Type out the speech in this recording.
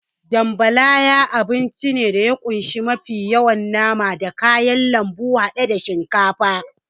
Jambalaya abinci ne da ya kunshi mafi yawa nama da kayan lambu haɗe da shinkafa.